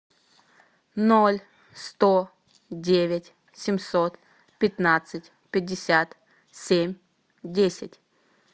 ноль сто девять семьсот пятнадцать пятьдесят семь десять